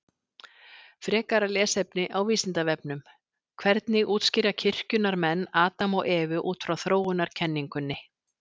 Frekara lesefni á Vísindavefnum: Hvernig útskýra kirkjunnar menn Adam og Evu út frá þróunarkenningunni?